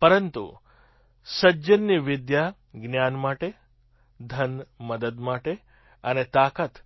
પરંતુ સજ્જનની વિદ્યા જ્ઞાન માટે ધન મદદ માટે અને તાકાત